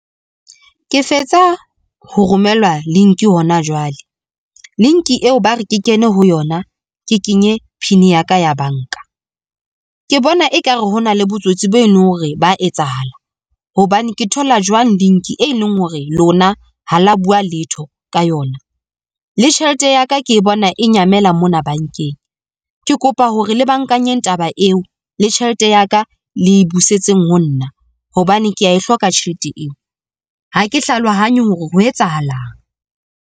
Ke fetsa ho romelwa link hona jwale. Link eo ba re ke kene ho yona, ke kenye pin ya ka ya banka. Ke bona ekare ho na le botsotsi be e leng hore ba etsahala, hobane ke thola jwang link e leng hore lona ha la bua letho ka yona. Le tjhelete ya ka ke bona e nyamela mona bankeng. Ke kopa hore le bangkanye taba eo le tjhelete ya ka le busetseng ho nna, hobane kea e hloka tjhelete eo. Ha ke hlalohanya hore ho etsahalang.